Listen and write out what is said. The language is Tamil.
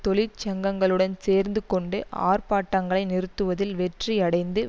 தொழிற்சங்கங்களுடன் சேர்ந்து கொண்டு ஆர்ப்பாட்டங்களை நிறுத்துவதில் வெற்றி அடைந்து